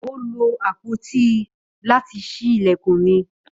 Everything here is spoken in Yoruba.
Ó lo àpótí láti ṣí ilẹ̀kùn mi.